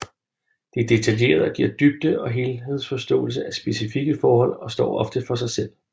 De er detaljerede og giver dybde og helhedsforståelse af specifikke forhold og står ofte for sig selv